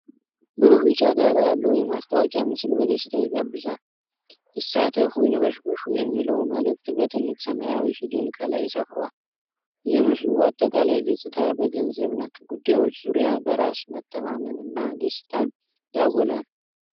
ብሩህ ቢጫ ዳራ ያለው የማስታወቂያ ምስል በደስታ ይጋብዛል። "ይሳተፉ ይንበሽበሹ!" የሚለው መልዕክት በትልቅ ሰማያዊ ፊደል ከላይ ሰፍሯል። የምስሉ አጠቃላይ ገጽታ በገንዘብ ነክ ጉዳዮች ዙሪያ በራስ መተማመንና ደስታን ያጎላል።